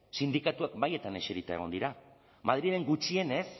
sindikatuek mahaietan eserita egon dira madrilen gutxienez